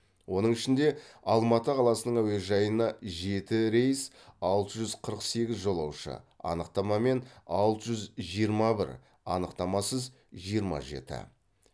оның ішінде алматы қаласының әуежайына жеті рейс алты жүз қырық сегіз жолаушы анықтамамен алты жүз жиырма бір анықтамасыз жиырма жеті